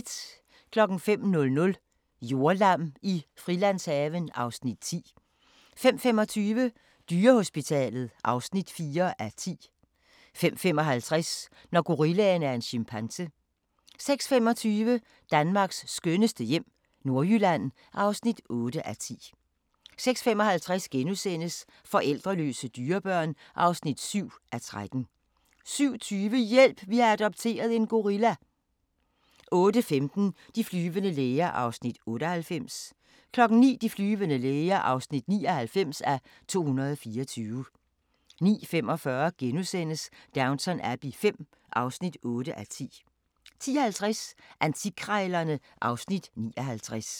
05:00: Jordlam i Frilandshaven (Afs. 10) 05:25: Dyrehospitalet (4:10) 05:55: Når gorillaen er en chimpanse 06:25: Danmarks skønneste hjem - Nordjylland (8:10) 06:55: Forældreløse dyrebørn (7:13)* 07:20: Hjælp! Vi har adopteret en gorilla 08:15: De flyvende læger (98:224) 09:00: De flyvende læger (99:224) 09:45: Downton Abbey V (8:10)* 10:50: Antikkrejlerne (Afs. 59)